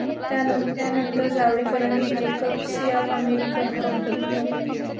त्यानंतर जावडेकरांनी जेकब्स या अमेरिकन कंपनीत नोकरी केली.